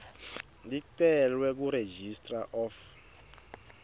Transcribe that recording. licelwe kuregistrar of